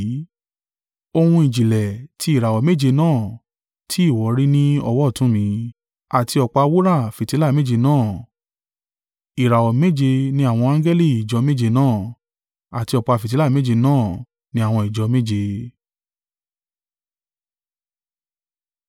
ohun ìjìnlẹ̀ tí ìràwọ̀ méje náà tí ìwọ rí ní ọwọ́ ọ̀tún mi, àti ọ̀pá wúrà fìtílà méje náà. Ìràwọ̀ méje ni àwọn angẹli ìjọ méje náà: àti ọ̀pá fìtílà méje náà ní àwọn ìjọ méje.